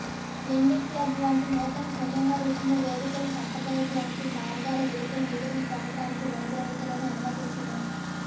lending Club వంటి నూతన సమూహ రుసుము వేదికలు సంప్రదాయ బ్యాంకింగ్ మార్గాల వెలుపల నిధులను పొందటానికి రుణగ్రహీతలను అనుమతించును